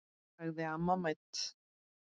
sagði amma mædd.